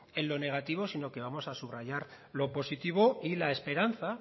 en lo negativo sino que vamos a subrayar lo positivo y la esperanza